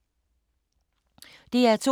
DR2